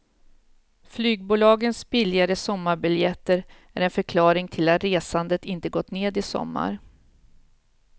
Flygbolagens billigare sommarbiljetter är en förklaring till att resandet inte gått ned i sommar.